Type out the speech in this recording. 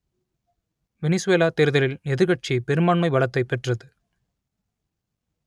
Venezuela தேர்தலில் எதிர்க்கட்சி பெரும்பான்மை பலத்தைப் பெற்றது